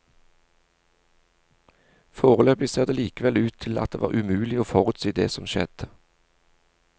Foreløpig ser det likevel ut til at det var umulig å forutsi det som skjedde.